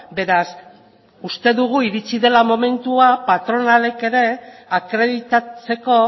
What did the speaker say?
beraz uste dugu iritsi dela momentua patronalek ere akreditatzeko